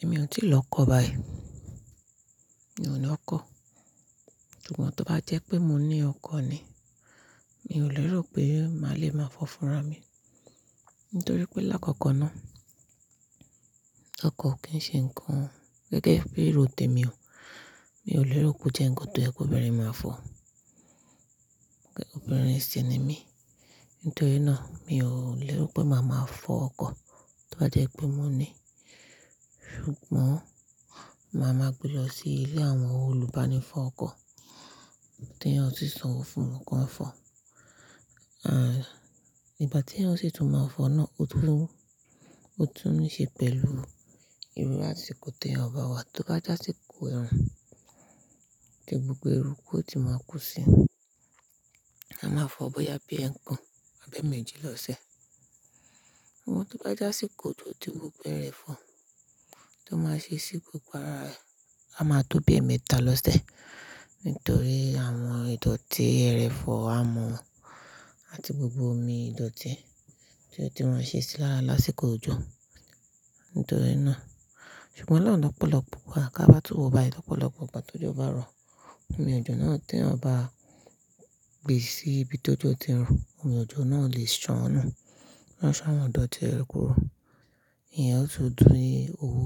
Èmi ò tíì lọ kọ́ báyìí. Mi ò ní ọkọ̀. Ṣùgbọ́n tó bá jẹ́ pé mo ní ọkọ̀ ni, mi ò lérò pé màá le máa fọ́funra mi. Nítorí pé lákọ̀ọ̀kan náà, ọkọ̀ kì í ṣe nǹkan gẹ́gẹ́ bí ìróte mi o. Mi ò lérò pé ó jẹ́ ǹkan tó jẹ́ pé obìnrin máa fọ̀. Obìnrin ṣi ni mí. Nítorí náà, mi ò lérò pé màá máa fọ ọkọ̀ tó bá jẹ́ pé mo ní. Ṣùgbọ́n màá máa gbé lọ sí ilé àwọn olùbání fọ ọkọ̀ tí eyan ó sì sanwó fún wọn kí wọ́n fọ̀. À iìgbà tí eyan o sì tún máa fọ náà, ó tún ní ṣe pẹ̀lú ìru asiko tẹ́ eyan ba wá. Tó bá je asikò ẹrun, tí gbogbo erúkú ò ti máa kú sí, a máa fọ ọ́ bóyá bí ẹ́kàn, abi ẹ́mẹ́jì lọ́sẹ̀. Ṣùgbọ́n tó bá je asikò ojo ti gbogbo ẹrofọ̀ tó máa ṣe sí gbogbo ara rẹ̀, a máa tó bí ẹmẹ́ta lọ́sẹ̀. Nítorí àwọn ìdọ̀tí ẹrofọ̀ amọ̀ àti gbogbo omi ìdọ̀tí tí ó ti ma ṣe sí lára lásìkò òjò. Nítorí náà-- ṣùgbọ́n ọ̀pọ̀lọpọ̀ wà ká bá tún wọ̀ bá. Ọ̀pọ̀lọpọ̀ ìgbà tó jọ bá rọ, omi òjò náà tí wọ́n bá gbè sí ibi tó jọ ti ń rùn, omi òjò náà lè ṣánù. Ó san àwọn ìdọ̀tí ẹranko rú. Ìyẹn ó sì dún i owó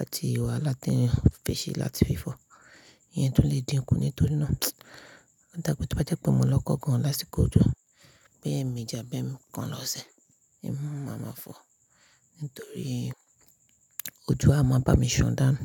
àti ìwà láti fi ṣe láti fi fọ̀. Ìyẹn tún lè dínkù nítorí náà. Ọ̀dà tó bá jẹ́ pé mo lọ́kọ gan-an lásìkò òjò, bí ẹ́mẹ́jì abẹ́mẹ́kùn lọ́sẹ̀, èmi máa máa fọ̀. Nítorí òjò a máa bá mi ṣọ̀ dáhùn.